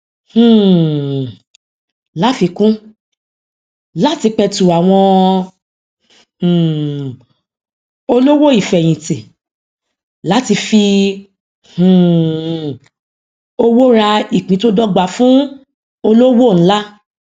um láfikún láti petu àwọn um olówò ifeyinti láti fi um owó rà ìpín tó dọgba fún olówò ńlá